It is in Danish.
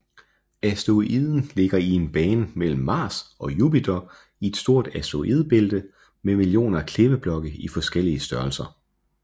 Asteroiden ligger i en bane mellem Mars og Jupiter i et stort asteroidebælte med millioner af klippeblokke i forskellige størrelser